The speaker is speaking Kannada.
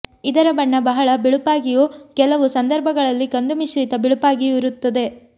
ಇದರ ಬಣ್ಣ ಬಹಳ ಬಿಳುಪಾಗಿಯೂ ಕೆಲವು ಸಂದರ್ಭಗಳಲ್ಲಿ ಕಂದು ಮಿಶ್ರಿತ ಬಿಳುಪಾಗಿಯೂ ಇರುತ್ತದೆ